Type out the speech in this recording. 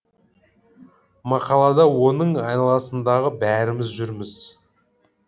мақалада оның айналасындағы бәріміз жүрміз